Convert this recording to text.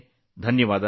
ಧನ್ಯವಾದಗಳು